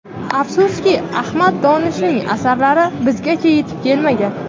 Afsuski, Ahmad Donishning asarlari bizgacha yetib kelmagan.